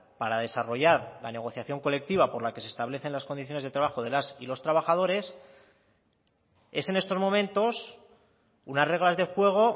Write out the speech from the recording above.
para desarrollar la negociación colectiva por la que se establecen las condiciones de trabajo de las y los trabajadores es en estos momentos unas reglas de juego